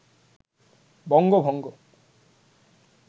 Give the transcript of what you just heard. বঙ্গভঙ্গ